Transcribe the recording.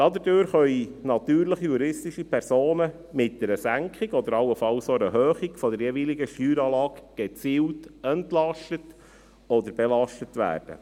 Dadurch können natürliche und juristische Personen mit einer Senkung oder allenfalls auch einer Erhöhung der jeweiligen Steueranlage gezielt entlastet oder belastet werden.